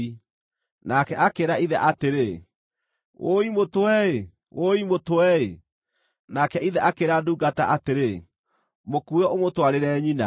Nake akĩĩra ithe atĩrĩ, “Wũi mũtwe-ĩ! Wũi mũtwe-ĩ!” Nake ithe akĩĩra ndungata atĩrĩ, “Mũkuue ũmũtwarĩre nyina.”